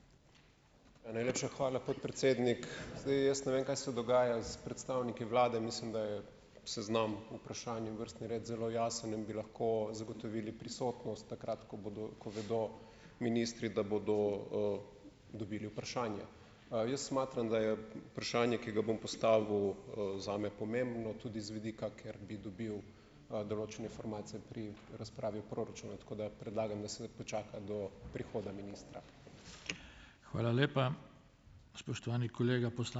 Ja, najlepša hvala, podpredsednik. Zdaj, jaz ne vem, kaj se dogaja s predstavniki vlade, mislim, da je seznam vprašanj in vrstni red zelo jasen in bi lahko zagotovili prisotnost takrat, ko bodo, ko vedo ministri, da bodo, dobili vprašanja. Jaz smatram, da je vprašanje, ki ga bom postavil, zame pomembno tudi z vidika, ker bi dobil, določene informacije pri razpravi proračuna, tako da predlagam, da se počaka do prihoda ministra.